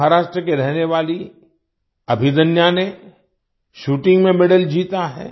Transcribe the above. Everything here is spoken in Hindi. महाराष्ट्र की रहने वाली अभिदन्या ने शूटिंग शूटिंग में मेडल जीता है